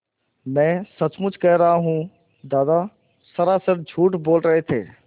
मैं सचमुच कह रहा हूँ दादा सरासर झूठ बोल रहे थे